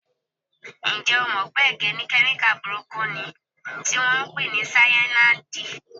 Ǹjẹ́ o jẹ́ mọ̀ wípé ẹ̀gẹ́ ní kemika burúkú niì tí wọn ń pè ní Sáyànáídì?